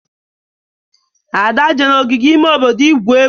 ada je n'ogige ime obodo igwu egwu